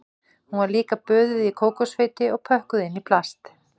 Hún var líka böðuð í kókosfeiti og pökkuð inn í plast